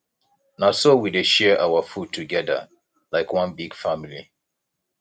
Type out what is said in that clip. na so we dey share our food togeda like one big family